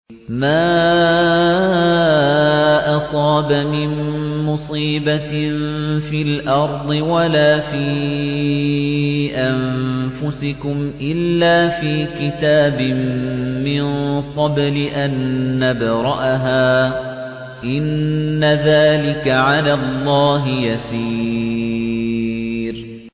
مَا أَصَابَ مِن مُّصِيبَةٍ فِي الْأَرْضِ وَلَا فِي أَنفُسِكُمْ إِلَّا فِي كِتَابٍ مِّن قَبْلِ أَن نَّبْرَأَهَا ۚ إِنَّ ذَٰلِكَ عَلَى اللَّهِ يَسِيرٌ